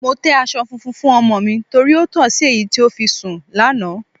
Mo tẹ́ aṣọ tuntun fún ọmọ mi torí ó tọ̀ sí èyí tí ó fi sùn lánàá.